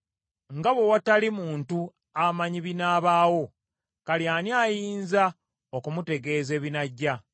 Nga bwe watali muntu amanyi binaabaawo, kale ani ayinza okumutegeeza ebinajja?